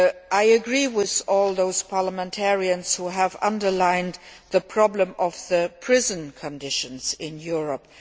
I agree with all those parliamentarians who have underlined the problem of prison conditions in Europe.